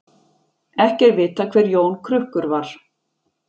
ekki er vitað hver jón krukkur var